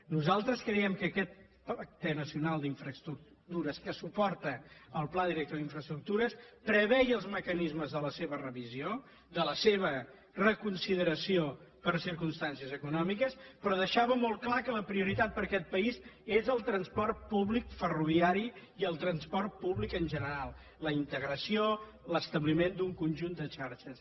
nosaltres creiem que aquest pacte nacional per a les infraestructures que suporta el pla director d’infraestructures preveia els mecanismes de la seva revisió de la seva reconsideració per circumstàncies econòmiques però deixava molt clar que la prioritat per a aquest país és el transport públic ferroviari i el transport públic en general la integració l’establiment d’un conjunt de xarxes